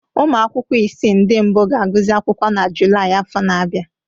Ụmụ akwụkwọ isii ndị mbụ ga-agụsị akwụkwọ na Julaị afọ na-abịa